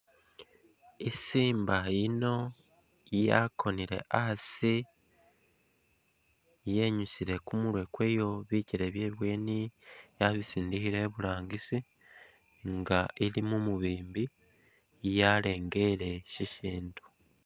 I Simba yino yakoneke asi yinyusile kumurwe kwayo, bikyele byebweni yabisindikhile iburangisi nga ili mumubimbi yalengele shishindu.